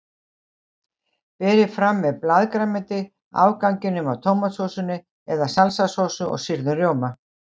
Berið fram með blaðgrænmeti, afganginum af tómatsósunni eða salsasósu og sýrðum rjóma.